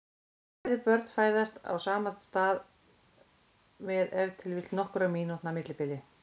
Bæði börnin fæðast á sama stað með ef til vill nokkurra mínútna millibili.